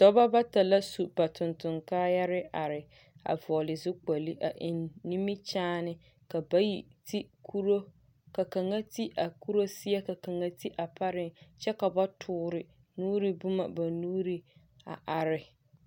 Dɔbɔ bata la su ba tontoŋkaayare are, a vɔɔle zukpoli a eŋ nimikyaane. Ka bayi ti kuro, ka kaŋa ti a kuro seɛ ka kaŋa ti a pareŋ kyɛ ka ba toore nuuri bomɔ ba nuuri a are.